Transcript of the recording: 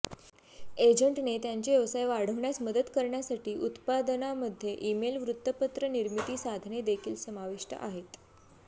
एजंटने त्यांचे व्यवसाय वाढण्यास मदत करण्यासाठी उत्पादनामध्ये ईमेल वृत्तपत्र निर्मिती साधने देखील समाविष्ट आहेत